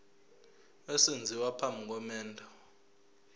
esenziwa phambi komendo